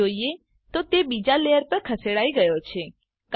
આમ જોઈએ તો તે બીજા લેયર પર ખસેડાઈ ગયો છે